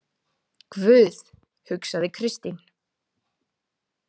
Guð, hugsaði Kristín.